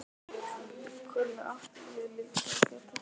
Hvernig ætti ég líka að geta það?